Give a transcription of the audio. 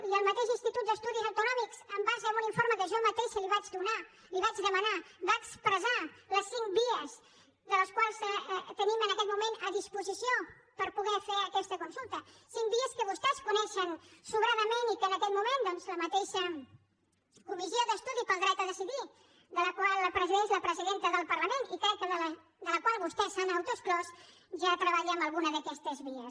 i el mateix institut d’estudis autonòmics en base a un informe que jo mateixa li vaig donar li vaig demanar va expressar les cinc vies que tenim en aquest moment a disposició per poder fer aquesta consulta cinc vies que vostès coneixen sobradament i que en aquest moment la mateixa comissió d’estudi pel dret a decidir que presideix la presidenta del parlament i crec que de la qual vostès s’han autoexclòs ja treballa amb alguna d’aquestes vies